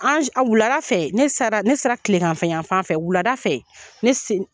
An wulada fɛ ne sera, ne sera kilegan yanfan fɛ wulada fɛ, ne s